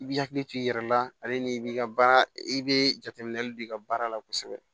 I b'i hakili to i yɛrɛ la ale ni i b'i ka baara i bɛ jateminɛli don i ka baara la kosɛbɛ